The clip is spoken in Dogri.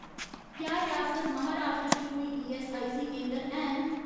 क्या रियासत महाराश्ट्र च कोई ईऐस्सआईसी केंदर हैन